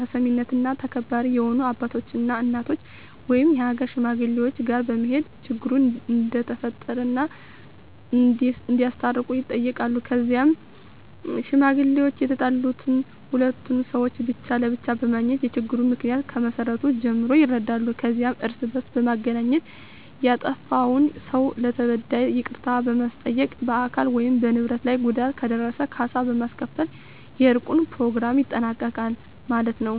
ተሰሚነትና ተከባሪ የሆኑ አባቶች እና እናቶች ወይም የሀገር ሽማግሌወች ጋር በመሄድ ችግሩ እንደተፈጠረ እና እንዲያስታርቁ ይጠየቃሉ ከዛም ሽማግሌወች የተጣሉትን ሁሉንም ሰውች ብቻ ለብቻ በማግኘት የችግሩን ምክንያ ከመሰረቱ ጀምሮ ይረዳሉ ከዛም እርስ በእርስ በማገናኘት ያጠፍውን ሰው ለተበዳዩ ይቅርታ በማስጠየቅ በአካል ወይም በንብረት ላይ ጉዳት ከደረሰ ካሳ በማስከፈል የእርቁን በኘሮግራሙ ይጠናቀቃል ማለት የው።